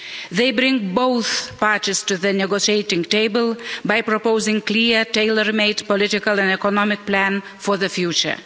They bring both parties to the negotiating table by proposing clear, tailor made political and economic plan for the future.